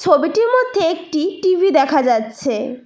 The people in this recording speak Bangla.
ছবিটির মধ্যে একটি টি_ভি দেখা যাচ্ছে।